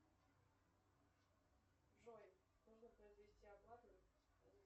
джой нужно произвести оплату